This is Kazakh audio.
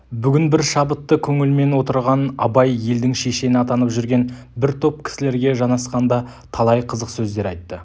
бүгін бір шабытты көңілмен отырған абай елдің шешені атанып жүрген бір топ кісілерге жанасқанда талай қызық сөздер айтты